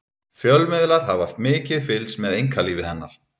fjölmiðlar hafa mikið fylgst með einkalífi hennar